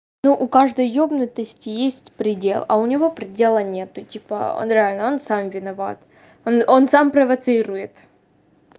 ну каждой ёбнутости есть предел а у него предела нету типа он реально он сам виноват он он сам провоцирует